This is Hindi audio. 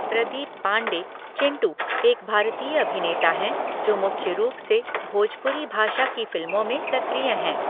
प्रदीप पांडे "चिंटू" एक भारतीय अभिनेता हैं जो मुख्य रूप से भोजपुरी भाषा की फिल्मों में सक्रिय हैं।